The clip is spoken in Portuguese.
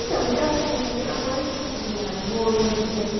Então, em casa tinha minha mãe, que cozinhava muito bem.